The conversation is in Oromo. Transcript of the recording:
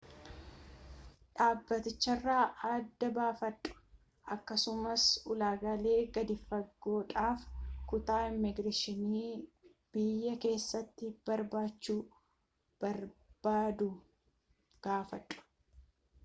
dhaabbaticharraa adda baafadhu akkasumas ulaagaalee gadi-fagoodhaaf kutaa immigireeshinii biyya keessatti barachuu barbbaadduu gaafadhu